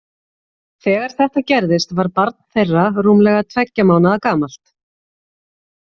Þegar þetta gerðist var barn þeirra rúmlega tveggja mánaða gamalt.